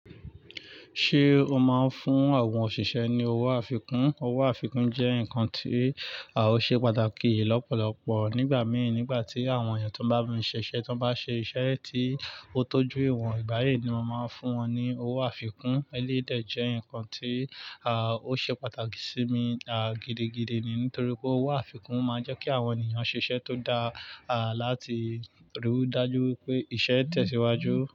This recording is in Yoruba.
Ṣé o máa ń fún àwọn òṣìṣẹ́ ní owó àfikún? Owó àfikún jẹ́ nǹkan tí ó ṣe pàtàkì lọ́pọ̀lọpọ̀ nígbà mìí, nígbà tí àwọn èèyàn tó n bá mú mi ṣiṣẹ́, tó n bá ṣe iṣẹ́ tí ó tọ́jú ìwọ̀n, ìgbà yii ni mo máa ń fún wọn ní owó àfikún. Eléyi dè jẹ́ nǹkan tí ó ṣe pàtàkì sí mi, gidi gidi ni nítorí pé owó àfikún máa ń jẹ́ kí àwọn ènìyàn ṣiṣẹ́ tó dáa, láti rí i dájú pé iṣẹ́ tẹ̀síwájú.